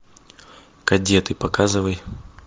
кадеты показывай